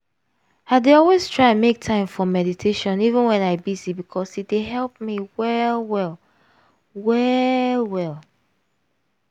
i dey always try make time for meditation even wen i busy because e dey help me well well. well well.